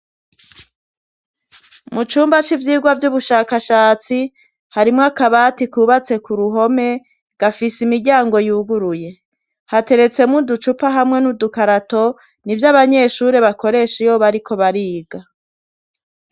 Mu cumba c'ivyirwa vy'ubushakashatsi, harimwo akabati kubatse ku ruhome gafise imiryango yuguruye hateretsemwo uducupa hamwe n'udukarato ni vyo abanyeshuri bakoresha iyoba, ariko bariga.